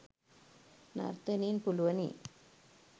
නර්තනයෙන් පුළුවනි.